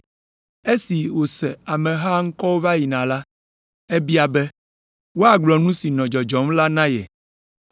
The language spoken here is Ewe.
Esi wòse ameha ŋkɔ wòva yina la, ebia be wòagblɔ nu si nɔ dzɔdzɔm la na ye.